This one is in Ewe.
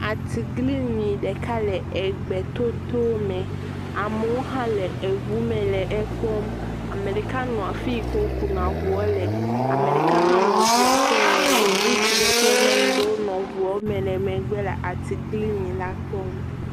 Atiglinyi ɖeka le egbe totrome. Amewo hã le eŋu me le ekpɔm. Ame ɖeka nɔ afi yi ke wokuna eŋua le. Ame ɖeka hã nɔ eŋua ƒe ŋgɔ. Ŋutsu ɖe kple nyɔnu ɖewo nɔ eŋua me le megbe le atiglinyi la kpɔm.